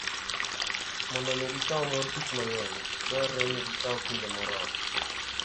Mondo omi gikaw mor kich mang'eny, dwarore ni gikaw kinde moromo.